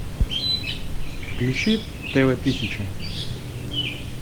включи тв тысяча